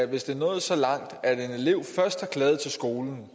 hvis det er nået så langt at en elev først har klaget til skolen